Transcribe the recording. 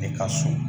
E ka so